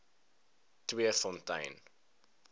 tweefontein